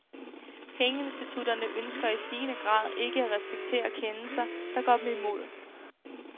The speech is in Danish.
Pengeinstitutterne ønsker i stigende grad ikke at respektere kendelser, der går dem imod.